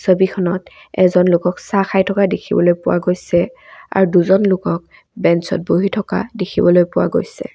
ছবিখনত এজন লোকক চাহ খাই থকা দেখিবলৈ পোৱা গৈছে আৰু দুজন লোকক বেঞ্চত বহি থকা দেখিবলৈ পোৱা গৈছে।